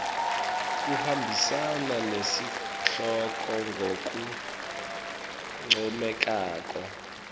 kuhambisana nesihloko ngalokuncomekako